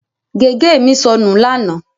Gègé mi sọnù lánàá.